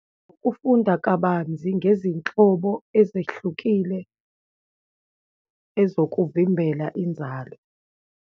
Ukufunda kabanzi ngezinhlobo ezehlukile ezokuvimbela inzalo.